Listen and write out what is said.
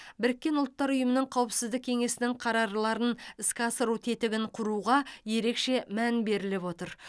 біріккен ұлттар ұйымының қауіпсіздік кеңесінің қарарларын іске асыру тетігін құруға ерекше мән беріліп отыр